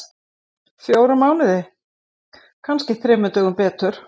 Fjóra mánuði. kannski þremur dögum betur.